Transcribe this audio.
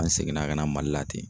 An seginna ka na Mali la ten.